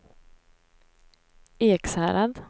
Ekshärad